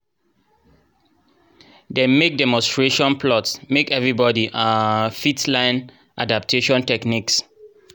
dem mek demonstration plots make everybodi um fit len adaptation techniques